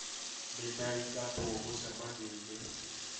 Nĩ ndaingatwo mũcemanio-inĩ